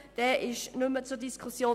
Diese steht nicht mehr zur Diskussion.